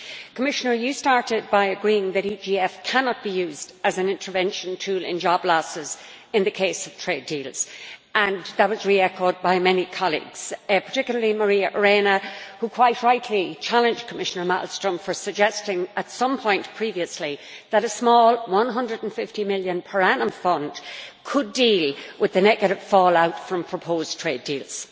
Commissioner, you started by agreeing that the EGF cannot be used as an intervention tool in job losses in the case of trade deals, and that was re echoed by many colleagues, particularly Maria Reina who quite rightly challenged Commissioner Malmström for suggesting at some point previously that a small EUR 150 million per annum fund could deal with the negative fall out from proposed trade deals.